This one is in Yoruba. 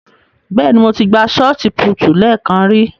Bẹ́ẹ̀ ni, mo ti gbá ṣọọti púútù lẹ́ẹ̀kan ri.